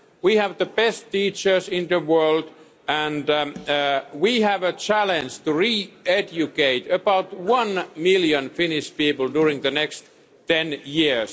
We have the best teachers in the world and we have a challenge to educate about one million Finnish people during the next ten years.